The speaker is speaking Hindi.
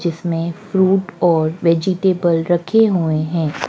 जिसमें फ्रूट और वेजिटेबल रखे हुए हैं।